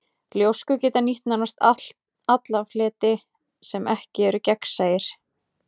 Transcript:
Ljóskurnar geta nýtt nánast alla fleti sem ekki eru gegnsæir.